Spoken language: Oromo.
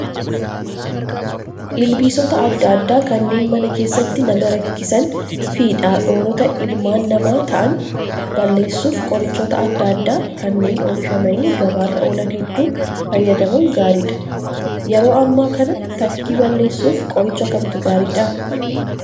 Ilbiisota adda addaa kanneen mana keessatti nama rakkisanii fi dhortoota ilmaan namaa ta'an balleessuuf qorichoota adda addaa kanneen oomishamanii gabaarra oolan hedduu fayyadamuun gaariidha. Yeroo ammaa kana tafkii balleessuuf qoricha kamtu gaariidhaa?